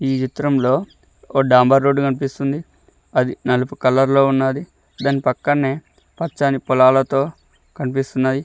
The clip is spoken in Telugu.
ఈ చిత్రంలో ఒక డాంబర్ రోడ్డు కనిపిస్తుంది. అది నలుపు కలర్లో ఉన్నది దాని పక్కనే పచ్చని పొలాలతో కనిపిస్తున్నాయి.